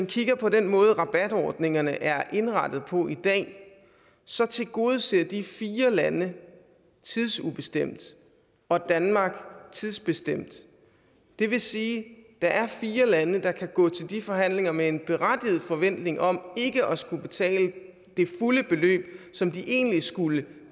kigger på den måde rabatordningerne er indrettet på i dag så tilgodeses de fire lande tidsubestemt og danmark tidsbestemt det vil sige at der er fire lande der kan gå til de forhandlinger med en berettiget forventning om ikke at skulle betale det fulde beløb som de egentlig skulle